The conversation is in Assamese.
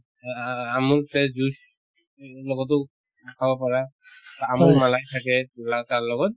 অ আ আমোল fresh juice উম লগতো খাব পাৰা বা আমোল malai থাকে তাৰ লগত